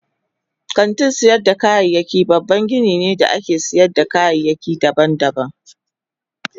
Kantin sayar da kayayyaki babban gini ne da ake sayar da kayayyaki daban-daban.